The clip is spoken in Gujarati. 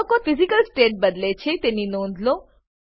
ઘટકો તેમની ફિઝિકલ સ્ટેટ બદલે છે તેની નોંધ લો